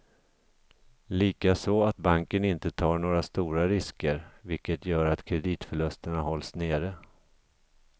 Likaså att banken inte tar några stora risker, vilket gör att kreditförlusterna hålls nere.